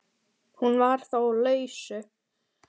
Hún var þá á lausu!